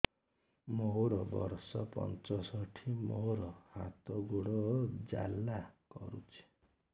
ମୋର ବର୍ଷ ପଞ୍ଚଷଠି ମୋର ହାତ ଗୋଡ଼ ଜାଲା କରୁଛି